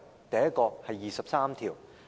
第一，是第二十三條。